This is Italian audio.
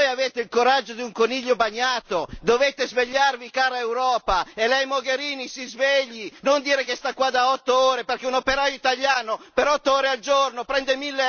Voi avete il coraggio di un coniglio bagnato, dovete svegliarvi cara Europa e Lei, Mogherini, si svegli, non dire che sta qua da 8 ore, perché un operaio italiano per 8 al giorno prende